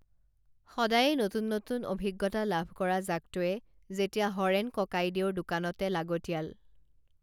সদায়ে নতুন নতুন অভিজ্ঞতা লাভ কৰা জাকটোৱে যেতিয়া হৰেণ ককাইদেউৰ দোকানতে লাগতীয়াল